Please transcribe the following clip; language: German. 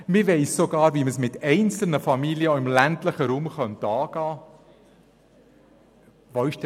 Man weiss sogar, wie es mit einzelnen Familien im ländlichen Raum angegangen werden könnte.